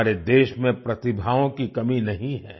हमारे देश में प्रतिभाओं की कमी नहीं है